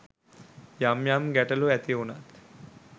යම් යම් ගැටලු ඇති වුණත්